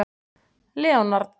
Leonard